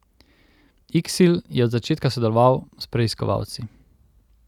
Iksil je od začetka sodeloval s preiskovalci.